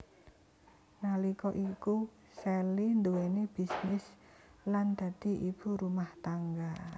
Nalika iku Sally nduwèni bisnis lan dadi ibu rumah tangga